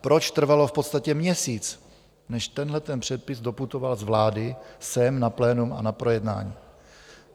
Proč trvalo v podstatě měsíc, než tenhle předpis doputoval z vlády sem na plénum a na projednání?